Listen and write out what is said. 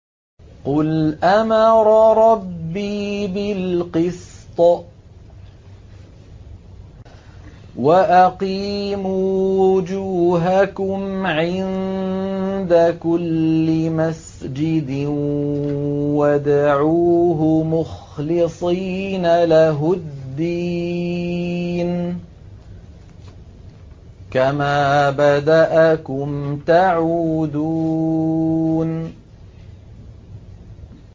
قُلْ أَمَرَ رَبِّي بِالْقِسْطِ ۖ وَأَقِيمُوا وُجُوهَكُمْ عِندَ كُلِّ مَسْجِدٍ وَادْعُوهُ مُخْلِصِينَ لَهُ الدِّينَ ۚ كَمَا بَدَأَكُمْ تَعُودُونَ